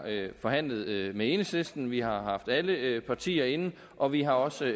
forhandlet med enhedslisten vi har haft alle partier inde og vi har også